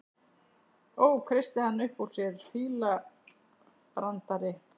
Ó, kreisti hann upp úr sér, fílabrandari